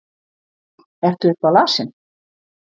Ertu eitthvað lasinn?